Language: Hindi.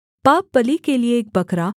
पापबलि के लिये एक बकरा